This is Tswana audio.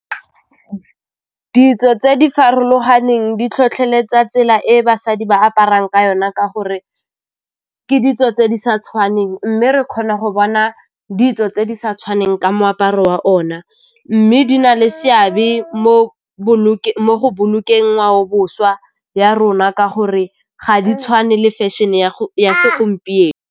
Ditso tse di farologaneng di tlhotlheletsa tsela e basadi ba aparang ka yona ka gore ke ditso tse di sa tshwaneng mme re kgona go bona ditso tse di sa tshwaneng ka moaparo wa o na, mme di na le seabe mo go bolokeng ngwaobošwa ya rona ka gore ga di tshwane le fashion-e ya segompieno.